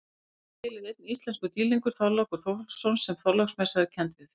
Til er einn íslenskur dýrlingur, Þorlákur Þórhallsson sem Þorláksmessa er kennd við.